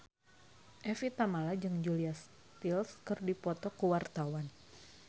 Evie Tamala jeung Julia Stiles keur dipoto ku wartawan